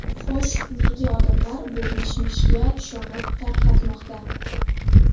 Xo‘sh, nega odamlar bu mishmishga ishonib tarqatmoqda?